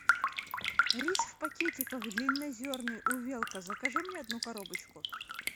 рис в пакетиках длиннозерный увелка закажи мне одну коробочку